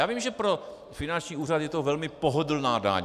Já vím, že pro finanční úřad je to velmi pohodlná daň.